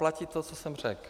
Platí to, co jsem řekl.